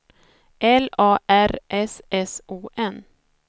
L A R S S O N